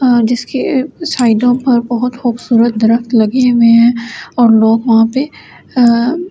आं जिसके साइडों पर बहुत खूबसूरत दरक्‍त लगे हुए हैं और लोग वहां पे आ --